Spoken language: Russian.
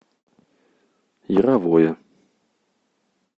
яровое